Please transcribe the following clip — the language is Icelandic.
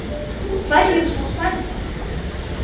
Hverjum skal selja?